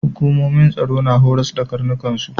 Hukumomin tsaro na horas da karnukan su.